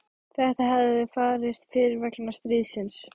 Þetta hefði farist fyrir vegna stríðsins.